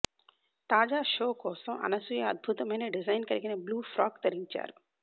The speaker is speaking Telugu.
తాజా షో కోసం అనసూయ అద్భుతమైన డిజైన్ కలిగిన బ్లూ ఫ్రాక్ ధరించారు